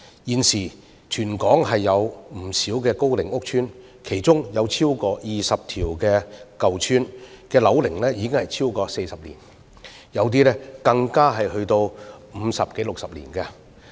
現時全港有不少高齡屋邨，其中超過20個舊邨的樓齡已超過40年，有些更達50多年或60年。